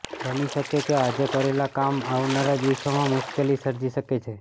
બની શકે કે આજે કરેલા કામ આવનારા દિવસોમાં મુશ્કેલી સર્જી શકે છે